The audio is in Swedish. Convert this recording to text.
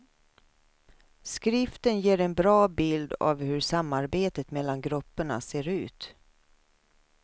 Skriften ger en bra bild av hur samarbetet mellan grupperna ser ut.